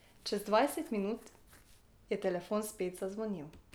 Čez dvajset minut je telefon spet zazvonil.